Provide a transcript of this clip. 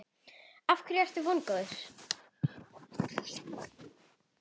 Af hverju ertu vongóð?